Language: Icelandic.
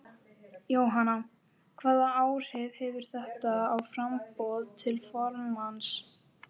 Jóhanna: Hvaða áhrif hefur þetta á framboð til formanns?